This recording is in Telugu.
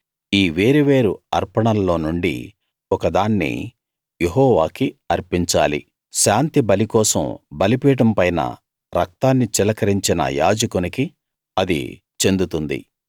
ఈ వేరు వేరు అర్పణల్లో నుండి ఒక దాన్ని యెహోవాకి అర్పించాలి శాంతిబలి కోసం బలిపీఠం పైన రక్తాన్ని చిలకరించిన యాజకునికి అది చెందుతుంది